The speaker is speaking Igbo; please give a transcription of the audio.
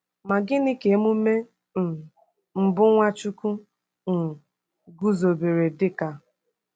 Ma gịnị ka emume um mbụ Nwachukwu um guzobere dị ka?